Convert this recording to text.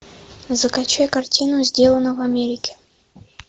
закачай картину сделано в америке